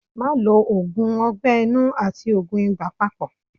Má lo òògùn ọgbẹ́ inú àti òògùn ibà papọ̀.